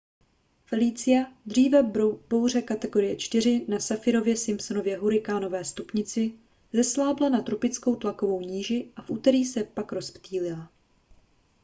felicia dříve bouře kategorie 4 na saffirově-simpsonově hurikánové stupnici zeslábla na tropickou tlakovou níži a v úterý se pak rozptýlila